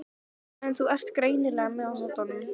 En þú ert greinilega með á nótunum.